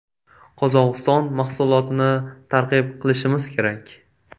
Qozog‘iston mahsulotini targ‘ib qilishimiz kerak.